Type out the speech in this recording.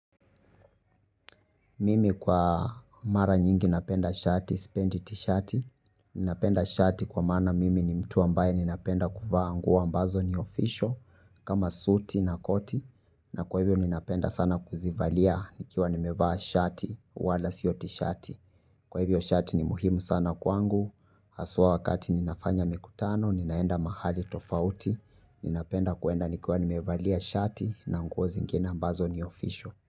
Mimi kwa mara nyingi napenda shati sipendi tishati. Ninapenda shati kwa maana mimi ni mtu ambaye ninapenda kuvaa nguo ambazo ni official, kama suti na koti. Na kwa hivyo ninapenda sana kuzivalia nikiwa nimevaa shati, wala sio tishati. Kwa hivyo shati ni muhimu sana kwangu. Haswa wakati ninafanya mikutano, ninaenda mahali tofauti. Ninapenda kuenda nikiwa nimevaa shati na nguo zingine ambazo ni official.